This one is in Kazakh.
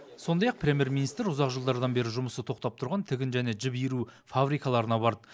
сондай ақ премьер министр ұзақ жылдардан бері жұмысы тоқтап тұрған тігін және жіп иіру фабрикаларына барды